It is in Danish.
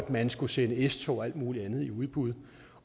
man skulle sende s tog og alt muligt andet i udbud